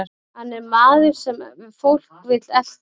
Hann er maður sem fólk vill elta.